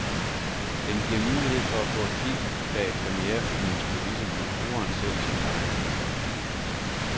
Den giver mulighed for at få et kig bag premierefilmens kulisser med brugeren selv som guide.